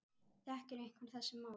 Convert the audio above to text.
Þekkir einhver þessi mál?